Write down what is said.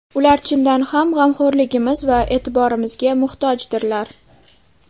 Ular chindan ham g‘amxo‘rligimiz va e’tiborimizga muhtojdirlar.